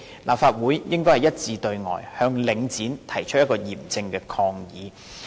立法會應該一致對外，向領展提出嚴正抗議。